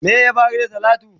Wai ya faru da talatu?